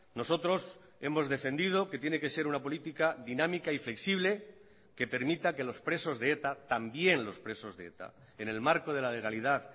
nosotros hemos defendido que tiene que ser una política dinámica y flexible que permita que los presos de eta también los presos de eta en el marco de la legalidad